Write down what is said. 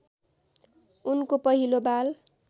उनको पहिलो बाल